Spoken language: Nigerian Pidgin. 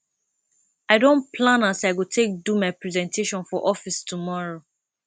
i don plan as i go take do my presentation for office tomorrow